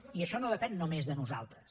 i això no depèn només de nosaltres